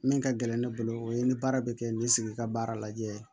Min ka gɛlɛn ne bolo o ye ni baara bɛ kɛ ni sigi ka baara lajɛ